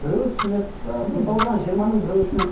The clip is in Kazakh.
біреуі түсінеді ыыы сыныпта отырған жиырманың біреуі түсінеді